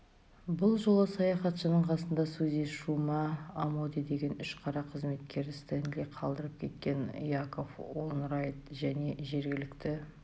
бұл жолы саяхатшының қасында сузи шума амоде деген үш қара қызметкері стенли қалдырып кеткен яков уэнрайт және жергілікті